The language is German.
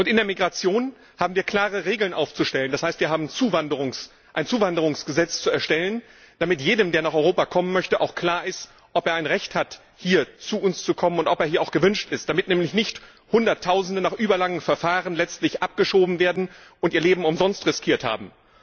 In der Migration haben wir klare Regeln aufzustellen. Das heißt, wir haben ein Zuwanderungsgesetz zu erstellen, damit jedem, der nach Europa kommen möchte, auch klar ist, ob er ein Recht hat, zu uns zu kommen, und ob er hier auch erwünscht ist, damit nämlich nicht Hunderttausende nach überlangen Verfahren letztlich abgeschoben werden und ihr Leben umsonst riskiert haben.